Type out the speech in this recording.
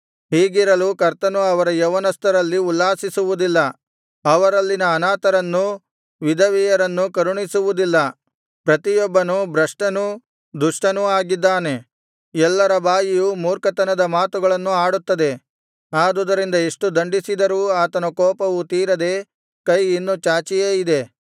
ಹೀಗಿರಲು ಕರ್ತನು ಅವರ ಯೌವನಸ್ಥರಲ್ಲಿ ಉಲ್ಲಾಸಿಸುವುದಿಲ್ಲ ಅವರಲ್ಲಿನ ಅನಾಥರನ್ನೂ ವಿಧವೆಯರನ್ನೂ ಕರುಣಿಸುವುದಿಲ್ಲ ಪ್ರತಿಯೊಬ್ಬನೂ ಭ್ರಷ್ಟನೂ ದುಷ್ಟನೂ ಆಗಿದ್ದಾನೆ ಎಲ್ಲರ ಬಾಯಿಯೂ ಮೂರ್ಖತನದ ಮಾತುಗಳನ್ನು ಆಡುತ್ತದೆ ಆದುದರಿಂದ ಎಷ್ಟು ದಂಡಿಸಿದರೂ ಆತನ ಕೋಪವು ತೀರದೆ ಕೈ ಇನ್ನು ಚಾಚಿಯೇ ಇದೆ